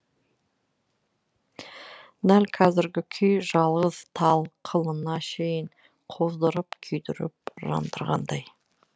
дәл қазіргі күй жалғыз тал қылына шейін қоздырып күйдіріп жандырғандай